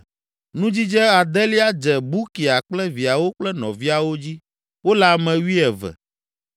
Nudzidze adelia dze Bukia kple viawo kple nɔviawo dzi; wole ame wuieve.